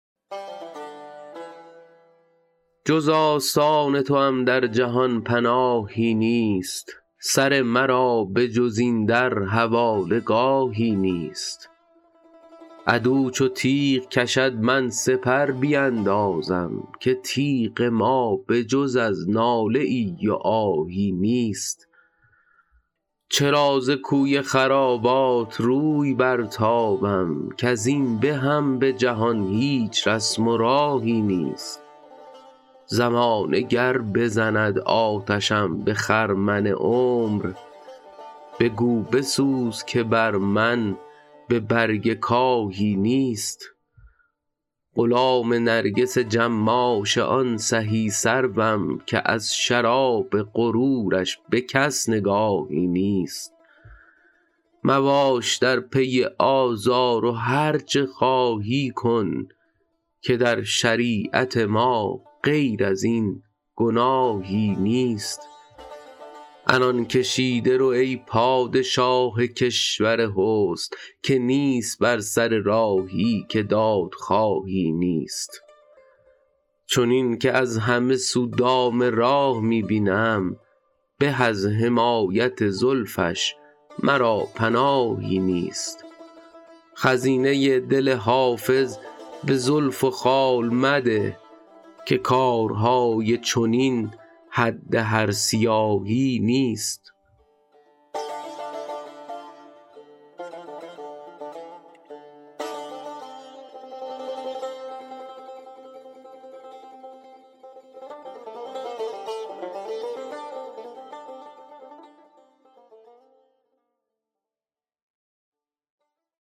جز آستان توام در جهان پناهی نیست سر مرا به جز این در حواله گاهی نیست عدو چو تیغ کشد من سپر بیندازم که تیغ ما به جز از ناله ای و آهی نیست چرا ز کوی خرابات روی برتابم کز این بهم به جهان هیچ رسم و راهی نیست زمانه گر بزند آتشم به خرمن عمر بگو بسوز که بر من به برگ کاهی نیست غلام نرگس جماش آن سهی سروم که از شراب غرورش به کس نگاهی نیست مباش در پی آزار و هرچه خواهی کن که در شریعت ما غیر از این گناهی نیست عنان کشیده رو ای پادشاه کشور حسن که نیست بر سر راهی که دادخواهی نیست چنین که از همه سو دام راه می بینم به از حمایت زلفش مرا پناهی نیست خزینه دل حافظ به زلف و خال مده که کارهای چنین حد هر سیاهی نیست